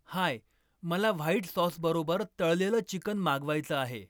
हाय, मला व्हाईट सॉसबरोबर तळलेलं चिकन मागवायचं आहे.